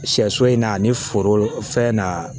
Sɛso in na ani foro fɛn na